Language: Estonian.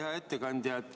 Hea ettekandja!